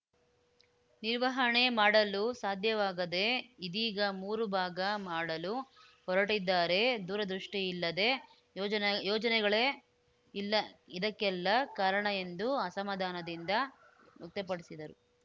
ನಿರ್ವಹಣೆ ಮಾಡಲು ಸಾಧ್ಯವಾಗದೆ ಇದೀಗ ಮೂರು ಭಾಗ ಮಾಡಲು ಹೊರಟಿದ್ದಾರೆ ದೂರದೃಷ್ಟಿಇಲ್ಲದೆ ಯೋಜನ ಯೋಜನೆಗಳೇ ಇಲ್ಲಾ ಇದಕ್ಕೆಲ್ಲಾ ಕಾರಣ ಎಂದು ಅಸಮಾಧಾನ ವ್ಯಕ್ತಪಡಿಸಿದರು